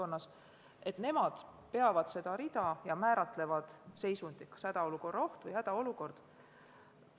Need asutused peavad seda rida ja määratlevad, kas tegemist on hädaolukorra ohu või hädaolukorraga.